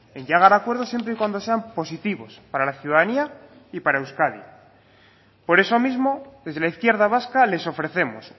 en llegar a acuerdos siempre y cuando sean positivos para la ciudadanía y para euskadi por eso mismo desde la izquierda vasca les ofrecemos